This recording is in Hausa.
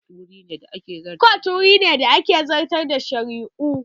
Kotu wuri ne da ake zartar da shari'u